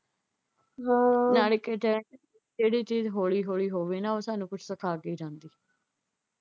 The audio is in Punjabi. ਹੋਰ ਨਾਲੇ ਕਹਿੰਦੇ ਜਿਹੜੀ ਚੀਜ਼ ਹੌਲੀ ਹੌਲੀ ਹੋਵੇ ਨਾ ਉਹ ਸਾਨੂੰ ਕੁਝ ਸਿਖਾ ਕੇ ਜਾਂਦੀ ਏ।